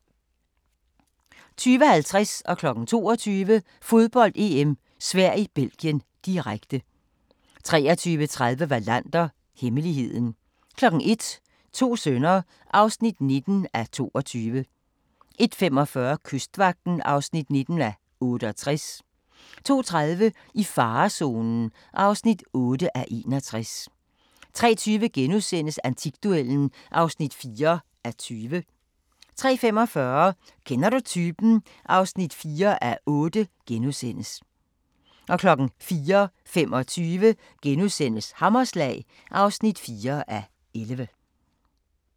20:50: Fodbold: EM - Sverige-Belgien, direkte 22:00: Fodbold: EM - Sverige-Belgien, direkte 23:30: Wallander: Hemmeligheden 01:00: To sønner (19:22) 01:45: Kystvagten (19:68) 02:30: I farezonen (8:61) 03:20: Antikduellen (4:20)* 03:45: Kender du typen? (4:8)* 04:25: Hammerslag (4:11)*